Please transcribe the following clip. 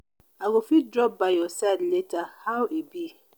abeg no forget to reply my message i dey wait.